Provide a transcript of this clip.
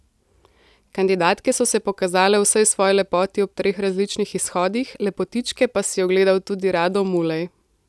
Kandidatke so se pokazale v vsej svoji lepoti ob treh različnih izhodih, lepotičke pa si je ogledal tudi Rado Mulej.